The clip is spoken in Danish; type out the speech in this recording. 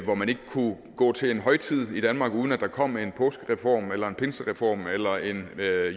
hvor man ikke kunne gå til en højtid i danmark uden at der kom en påskereform eller en pinsereform eller en